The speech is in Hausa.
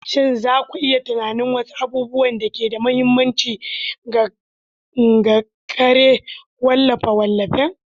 Shin za ku iya tunanin wasu abubuwan da ke da mahimmanci ga kera wallafe-wallafen?